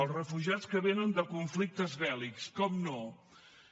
els refugiats que vénen de conflictes bèl·lics naturalment